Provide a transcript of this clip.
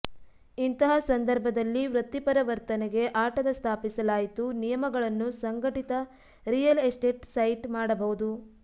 ಇಂತಹ ಸಂದರ್ಭದಲ್ಲಿ ವೃತ್ತಿಪರ ವರ್ತನೆಗೆ ಆಟದ ಸ್ಥಾಪಿಸಲಾಯಿತು ನಿಯಮಗಳನ್ನು ಸಂಘಟಿತ ರಿಯಲ್ ಎಸ್ಟೇಟ್ ಸೈಟ್ ಮಾಡಬಹುದು